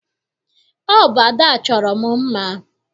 Ọ bụ Ada chọrọ m mma.